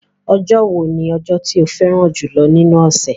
Ọjọ́ wo ni ọjọ́ tí o fẹ́ràn jùlọ́ nínú ọ̀sẹ̀?